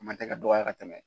Kuma tɛ ka dɔgɔya ka tɛmɛ.